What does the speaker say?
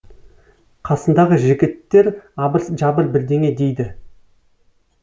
қасындағы жігіттер абыр жабыр бірдеңе дейді